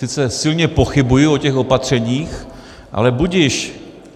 Sice silně pochybuji o těch opatřeních, ale budiž.